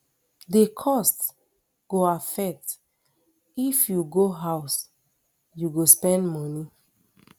di cost go affect if you go house you go spend moni